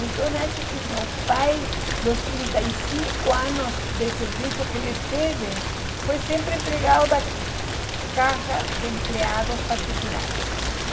Então acho que meu pai, os trinta e cinco anos de serviço que ele teve, foi sempre empregado da, se chama.